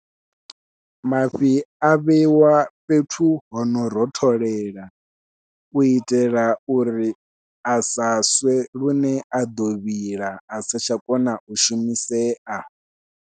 Mafhi a vheiwa fhethu hono rotholela u itela uri a sa swe lune a ḓo vhila asa tsha kona u shumisea.